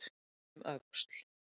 Leit um öxl.